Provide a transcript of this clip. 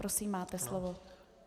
Prosím, máte slovo.